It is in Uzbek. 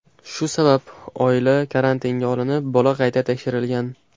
Shu sabab oila karantinga olinib, bola qayta tekshirilgan.